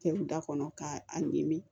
Kɛ u da kɔnɔ k'a ɲimi